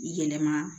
Yɛlɛma